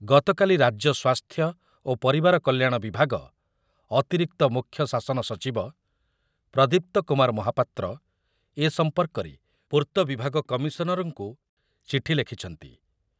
ଗତକାଲି ରାଜ୍ୟ ସ୍ୱାସ୍ଥ୍ୟ ଓ ପରିବାର କଲ୍ୟାଣ ବିଭାଗ ଅତିରିକ୍ତ ମୁଖ୍ୟ ଶାସନ ସଚିବ ପ୍ରଦୀପ୍ତ କୁମାର ମହାପାତ୍ର ଏ ସମ୍ପର୍କରେ ପୂର୍ତ୍ତ ବିଭାଗ କମିଶନରଙ୍କୁ ଚିଠି ଲେଖିଛନ୍ତି ।